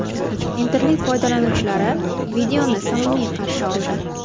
Internet foydlanuvchilari videoni samimiy qarshi oldi.